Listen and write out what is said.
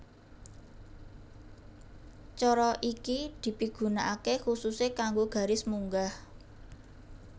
Cara iki dipigunakaké khususé kanggo garis munggah